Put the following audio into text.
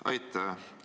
Aitäh!